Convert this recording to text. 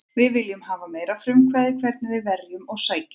Við viljum hafa meira frumkvæði hvernig við verjum og sækjum.